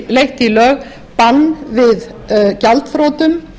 leitt í lög bann við gjaldþrotum